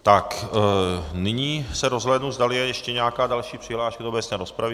Tak nyní se rozhlédnu, zdali je ještě nějaká další přihláška do obecné rozpravy.